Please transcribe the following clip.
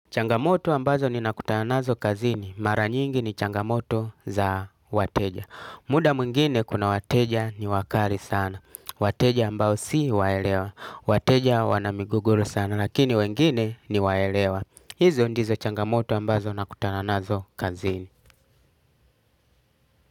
Changamoto ambazo ninakutana nazo kazini. Mara nyingi ni changamoto za wateja. Muda mungine kuna wateja ni wakali sana. Wateja ambao si waelewa. Wateja wana migogoro sana. Lakini wengine ni waelewa. Hizo ndizo changamoto ambazo nakutana nazo kazini.